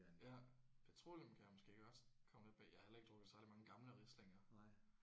Ja petroleum kan jeg måske godt komme lidt bag jeg har heller ikke drukket særlig mange gamle Rieslinger